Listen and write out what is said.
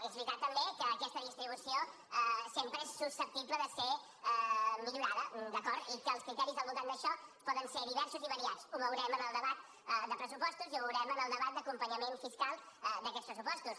és veritat també que aquesta distribució sempre és susceptible de ser millorada d’acord i que els criteris al voltant d’això poden ser diversos i variats ho veurem en el debat de pressupostos i ho veurem en el debat d’acompanyament fiscal d’aquests pressupostos